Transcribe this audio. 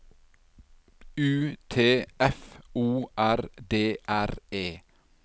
U T F O R D R E